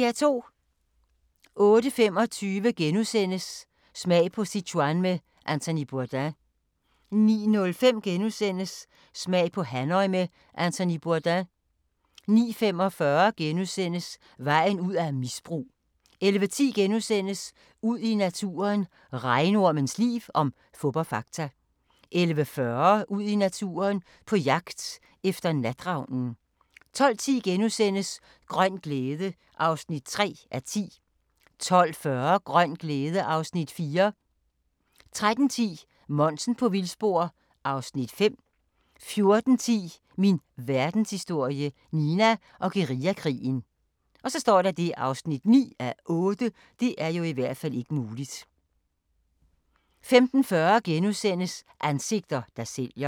08:25: Smag på Sichuan med Anthony Bourdain * 09:05: Smag på Hanoi med Anthony Bourdain * 09:45: Vejen ud af misbrug * 11:10: Ud i naturen: Regnormens liv – om fup og fakta * 11:40: Ud i naturen: På jagt efter natravnen 12:10: Grøn glæde (3:10)* 12:40: Grøn glæde (Afs. 4) 13:10: Monsen på vildspor (Afs. 5) 14:10: Min Verdenshistorie – Nina og guerillakrigen (9:8) 15:40: Ansigter, der sælger *